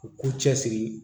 U k'u cɛ siri